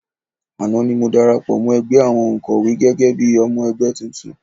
Àná ni mo darapọ̀ mọ́ ẹgbẹ́ àwọn òǹkọ́wé gẹ́gẹ́ bí i ọmọ ẹgbẹ́ tuntun